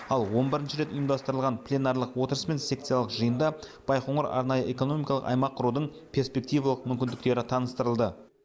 ал он бірінші рет ұйымдастырылған пленарлық отырыс пен секциялық жиында байқоңыр арнайы экономикалық аймақ құрудың перспективалық мүмкіндіктері таныстырылды